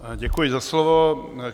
Děkuji za slovo.